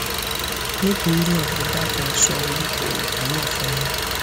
nítorí náà ẹ dákun ẹ sọ orúkọ òògùn náà fún mi